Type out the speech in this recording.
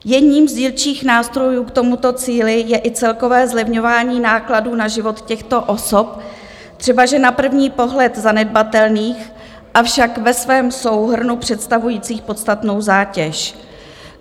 Jedním z dílčích nástrojů k tomuto cíli je i celkové zlevňování nákladů na život těchto osob, třebaže na první pohled zanedbatelných, avšak ve svém souhrnu představujících podstatnou zátěž.